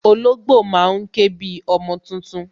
Ológbò má ń ké bi ọmọ tuntun